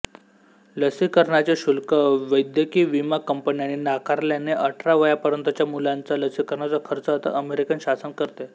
लसीकरणाचे शुल्क वैद्यकीयविमा कंपन्यानी नाकारल्याने अठरा वयापर्यंतच्या मुलांचा लसीकरणाचा खर्च आता अमेरिकन शासन करते